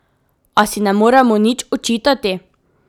A si ne moremo nič očitati.